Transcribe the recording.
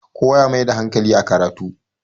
kowa ya Maida hankali a karatu